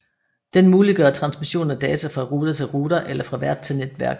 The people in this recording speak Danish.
Den muliggør transmission af data fra router til router eller fra vært til netværk